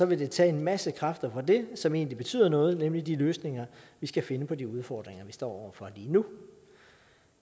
vil det tage en masse kræfter fra det som egentlig betyder noget nemlig de løsninger vi skal finde på de udfordringer vi står over for lige nu